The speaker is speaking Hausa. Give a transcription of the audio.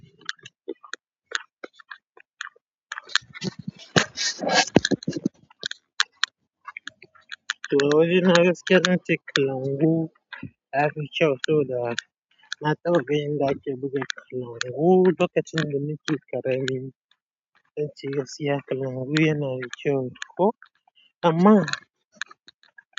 Gaskiya zance kalangu yafi kyau, saboda nataɓa ganin inda ake buga kalangu lokacin da nake ƙarami.